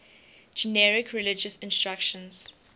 generic religious instruction